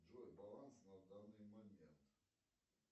джой баланс на данный момент